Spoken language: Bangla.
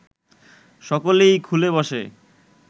সকলেই খুলে বসে